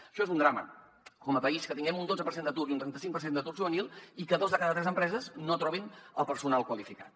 això és un drama com a país que tinguem un dotze per cent d’atur i un trenta·cinc per cent d’atur juvenil i que dos de cada tres empreses no trobin el personal qualificat